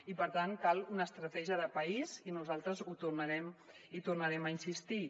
i per tant cal una estratègia de país i nosaltres hi tornarem a insistir